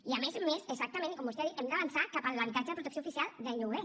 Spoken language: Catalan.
i a més a més exactament i com vostè ha dit hem d’avançar cap a l’habitatge de protecció oficial de lloguer